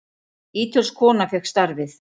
Ítölsk kona fékk starfið.